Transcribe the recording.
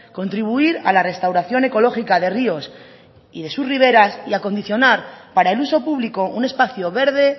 contribuir a la restauración ecológica de ríos y de sus riberas y acondicionar para el uso público un espacio verde